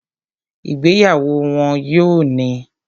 Ìgbéyàwó wọ́n yóò ní